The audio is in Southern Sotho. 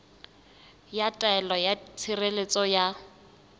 ya taelo ya tshireletso ya